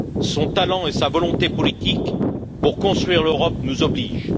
Son talent et sa volonté politique pour construire l'Europe nous obligent.